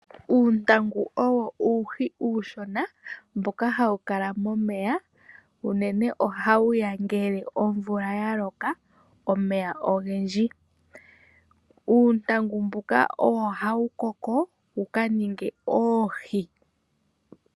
Uuntangu owo uuhi uushona mboka hawu kala momeya unene ohawu ya ngele omvula ya loka omeya ogendji. Uuntangu mbuka owo hawu koko wuka ninge oohi.